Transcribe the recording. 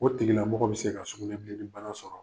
O tigila mɔgɔ bi se ka sugunɛbileni bana sɔrɔ.